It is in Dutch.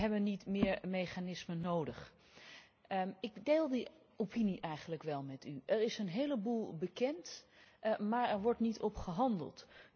We hebben niet meer mechanismen nodig en ik deel die opinie eigenlijk wel met u. Er is een heleboel bekend, maar er wordt niet naar gehandeld.